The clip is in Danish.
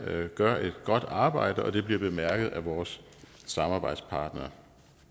gør et godt arbejde og det bliver bemærket af vores samarbejdspartnere